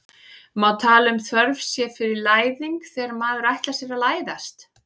má tala um þörf sé fyrir læðing þegar maður ætlar sér að læðast